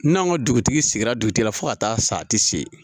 N'an ka dugutigi sigira dugutigi la fo ka taa san ti se